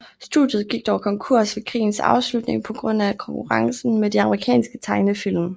Studiet gik dog konkurs ved krigens afslutning på grund af konkurrencen med de amerikanske tegnefilm